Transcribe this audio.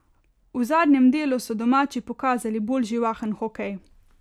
V zadnjem delu so domači pokazali bolj živahen hokej.